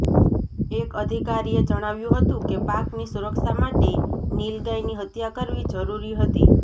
એક અધિકારીએ જણાવ્યું હતું કે પાકની સુરક્ષા માટે નીલગાયની હત્યા કરવી જરૂરી હતી